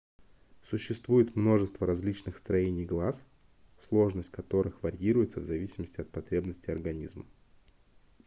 существует множество различных строений глаз сложность которых варьируется в зависимости от потребностей организма